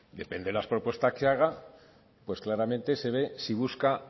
depende de la propuesta que haga pues claramente se ve si busca